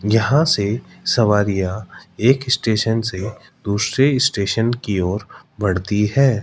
यहां से सवारियां एक स्टेशन से दूसरे स्टेशन की ओर बढ़ती है।